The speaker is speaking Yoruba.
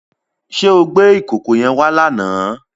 Ṣé o gbé ìkòkò yẹn wá lánàá?